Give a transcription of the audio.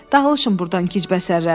Dağılışın burdan gec bəsərlər.